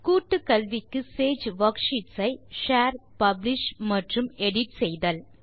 கூட்டு கல்விக்கு சேஜ் வர்க்ஷீட்ஸ் ஐ ஷேர் பப்ளிஷ் மற்றும் எடிட் செய்தல்